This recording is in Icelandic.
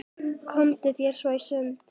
Komdu þér svo í sund.